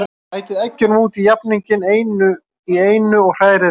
Bætið eggjunum út í jafninginn, einu í einu, og hrærið vel.